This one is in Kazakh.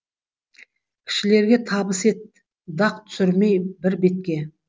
кішілерге табыс ет дақ түсірмей бір бетке